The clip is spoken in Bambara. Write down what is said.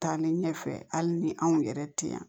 Taa ni ɲɛfɛ hali ni anw yɛrɛ te yan